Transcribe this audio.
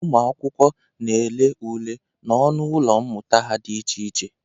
Ụmụ akwụkwọ na-ele ule n'ọnụ ụlọ mmụta ha dị iche iche.